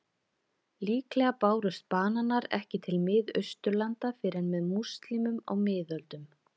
Líklega bárust bananar ekki til Miðausturlanda fyrr en með múslímum á miðöldum.